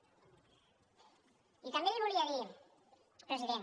i també l’hi volia dir president